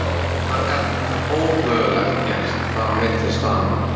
Hann gat ómögulega gert upp á milli staðanna.